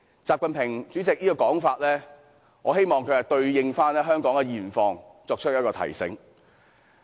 這是主席習近平的說法，我希望他能對應香港的現況作出提醒。